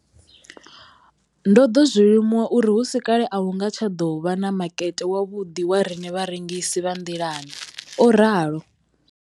Ndo ḓo zwi limuwa uri hu si kale a hu nga tsha ḓo vha na makete wavhuḓi wa riṋe vharengisi vha nḓilani, o ralo.